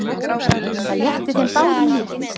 Það létti þeim báðum lífið.